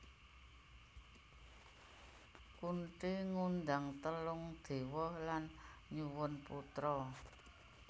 Kunthi ngundang telung dewa lan nyuwun putra